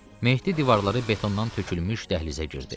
Mehdi divarları betondan tökülmüş dəhlizə girdi.